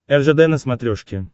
ржд на смотрешке